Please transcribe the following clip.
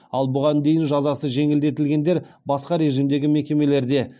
ал бұған дейін жазасы жеңілдетілгендер басқа режимдегі мекемелерде